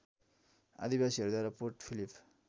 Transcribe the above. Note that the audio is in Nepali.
आदिवासीहरूद्वारा पोर्ट फिलिप